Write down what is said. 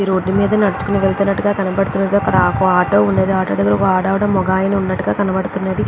ఈ రోడ్ మీద నడుచుకుని వెళ్తున్నట్టుగా కనబడుతున్నది. అక్కడ ఒక్క ఆటో ఉంది. ఆటో దగ్గర ఒక ఆడ ఆవిడా మగ అయన ఉన్నట్టుగా కనబడుతున్నది.